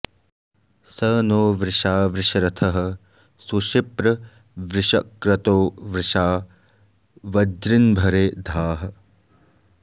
स नो॒ वृषा॒ वृष॑रथः सुशिप्र॒ वृष॑क्रतो॒ वृषा॑ वज्रि॒न्भरे॑ धाः